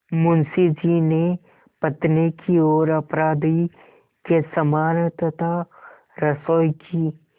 मुंशी जी ने पत्नी की ओर अपराधी के समान तथा रसोई की